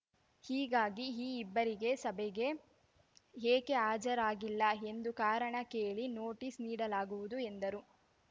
ಹೀಗಾಗಿ ಈ ಇಬ್ಬರಿಗೆ ಸಭೆಗೆ ಏಕೆ ಹಾಜರಾಗಿಲ್ಲ ಎಂದು ಕಾರಣ ಕೇಳಿ ನೋಟಿಸ್‌ ನೀಡಲಾಗುವುದು ಎಂದರು